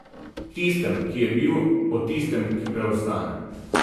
Tistem, ki je bil, o tistem, ki preostane.